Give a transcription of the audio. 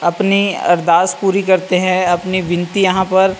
अपनी अरदास पूरी करते है अपनी विनती यहाँ पर --